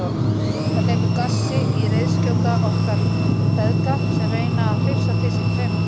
Það hleypur gassi í reiðskjóta okkar feðga sem reyna að hrifsa til sín taumana.